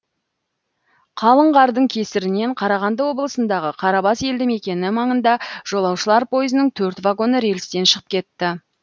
қалың қардың кесірінен қарағанды облысындағы қарабас елді мекені маңында жолаушылар пойызының төрт вагоны рельстен шығып кетті